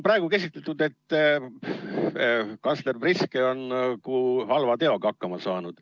Praegu on käsitletud, et kantsler Priske on nagu halva teoga hakkama saanud.